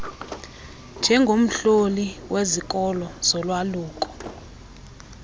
njengomhloli wezikolo zolwaluko